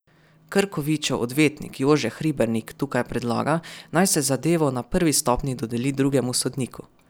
Krkovičev odvetnik Jože Hribernik tukaj predlaga, naj se zadevo na prvi stopnji dodeli drugemu sodniku.